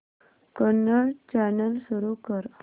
Kannada channel सुरू कर